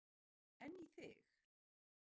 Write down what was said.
Gísli Óskarsson: En í þig?